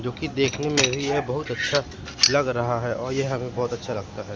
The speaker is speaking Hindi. जो कि देखने में भी यह बहोत अच्छा लग रहा है और यह हमें बहोत अच्छा लगता है।